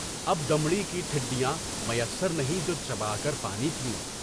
اب دمڑی کی ٹھِڈیاں میسر نہیں جو چبا کر پانی پیوں۔